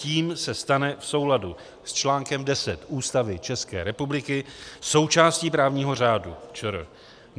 Tím se stane v souladu s článkem 10 Ústavy České republiky součástí právního řádu ČR.